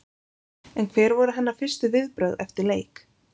En hver voru hennar fyrstu viðbrögð eftir leik?